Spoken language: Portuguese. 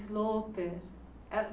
Sloper.